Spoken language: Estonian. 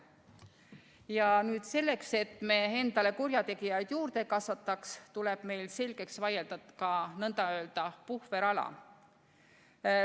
Ja selleks, et me endale kurjategijaid juurde ei kasvataks, tuleb meil selgeks vaielda ka n-ö puhverala.